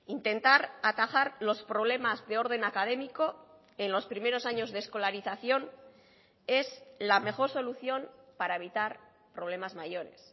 intentar atajar los problemas de orden académico en los primeros años de escolarización es la mejor solución para evitar problemas mayores